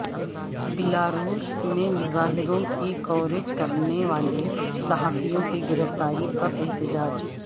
Belarus میں مظاہروں کی کوریج کرنے والے صحافیوں کی گرفتاری پر احتجاج